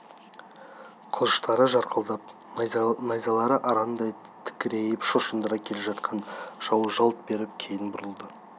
қылыштары жарқылдап найзалары арандай тікірейіп шошындыра келе жатыр жау жалт беріп кейін бұрылды